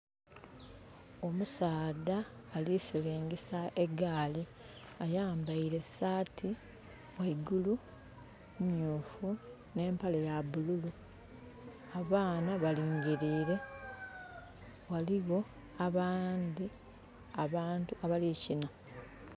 Omusaadha ali silingisa egaali. Ayambaile saati ghaigulu myuufu, ne empale ya bululu. Abaana balingilire, ghaligho abandhi abantu abali kina.